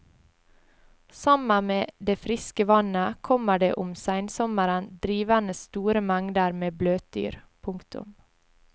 Sammen med det friske vannet kommer det om seinsommeren drivende store mengder med bløtdyr. punktum